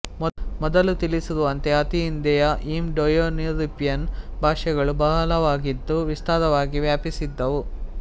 ಮೊದಲು ತಿಳಿಸಿರುವಂತೆ ಅತಿ ಹಿಂದೆಯೇ ಇಂಡೋಯೂರೋಪಿಯನ್ ಭಾಷೆಗಳು ಬಹಳವಾಗಿದ್ದು ವಿಸ್ತಾರವಾಗಿ ವ್ಯಾಪಿಸಿದ್ದುವು